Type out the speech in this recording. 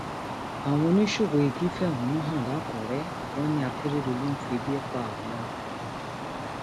àwọn oníṣòwò igi fẹhónú hàn lakúrẹ wọn ní akérèdọlù ń febi febi pa àwọn